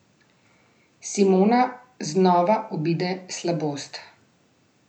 Simona znova obide slabost.